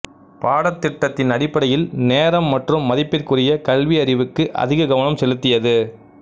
பாடத்திட்டத்தின் அடிப்படையில் நேரம் மற்றும் மதிப்பிற்குரிய கல்வி அறிவுக்கு அதிக கவனம் செலுத்தியது